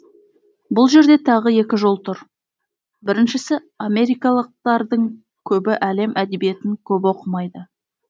бұл жерде тағы екі жол тұр біріншісі америкалықтардың көбі әлем әдебиетін көп оқымайды